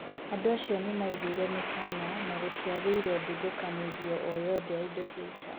Andũ acio nĩ maiguire mĩkana na gũtĩagĩire ndathũkanĩrio o yothe ya indo cia ita.